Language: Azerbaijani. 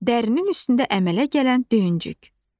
Dərinin üstündə əmələ gələn döyüncük.